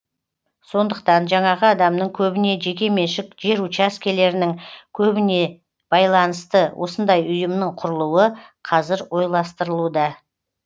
сондықтан жаңағы адамның көбіне жеке меншік жер учаскелерінің көбіне байланысты осындай ұйымның құрылуы қазір ойластырылуда